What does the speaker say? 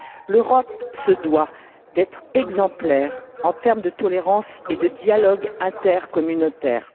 L'Europe se doit d'être exemplaire en termes de tolérance et de dialogue intercommunautaire.